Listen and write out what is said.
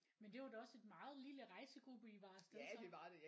Men det var da også et meget lille rejsegruppe I var af sted så